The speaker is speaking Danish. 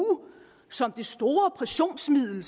som det store pressionsmiddel